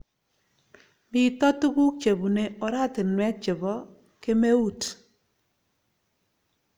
Mito tuguk chebune oratinwek che po kemeut